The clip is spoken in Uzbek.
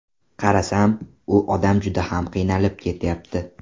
Qarasam, u odam juda ham qiynalib ketyapti.